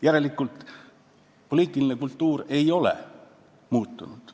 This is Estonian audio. Järelikult poliitiline kultuur ei ole muutunud.